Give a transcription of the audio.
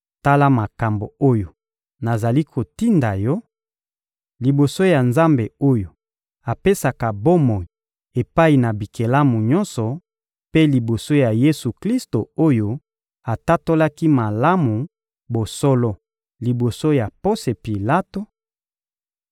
Tala makambo oyo nazali kotinda yo, liboso ya Nzambe oyo apesaka bomoi epai na bikelamu nyonso, mpe liboso ya Yesu-Klisto oyo atatolaki malamu bosolo liboso ya Ponse Pilato: